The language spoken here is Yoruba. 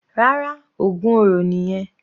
Rárá, ògún oro nìyẹn.